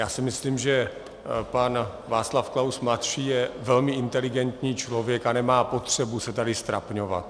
Já si myslím, že pan Václav Klaus mladší je velmi inteligentní člověk a nemá potřebu se tady ztrapňovat.